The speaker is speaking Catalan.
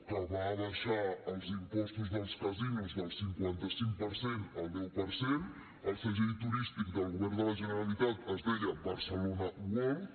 que va abaixar els impostos dels casinos del cinquanta cinc per cent al deu per cent el segell turístic del govern de la generalitat es deia barcelona world